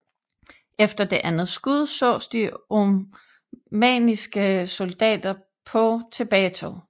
Efter det andet skud sås de oamanniske soldater på tilbagetog